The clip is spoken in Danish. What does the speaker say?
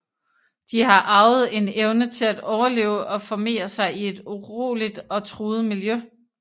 De har arvet en evne til at overleve og formere sig i et uroligt og truet miljø